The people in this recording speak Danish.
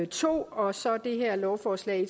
to og så det her lovforslag